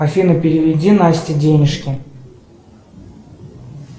афина переведи насте денежки